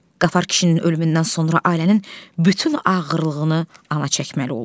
Qafar kişinin ölümündən sonra ailənin bütün ağırlığını ana çəkməli oldu.